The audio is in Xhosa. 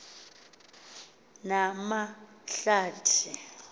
namahlathi